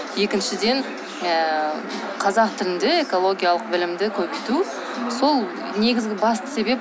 екіншіден ыыы қазақ тілінде экологиялық білімді көбейту сол негізгі басты себеп